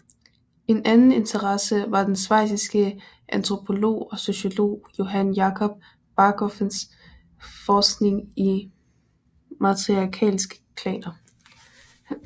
En anden interesse var den schweiziske antropolog og sociolog Johann Jakob Bachofens forskning i matriarkalske klaner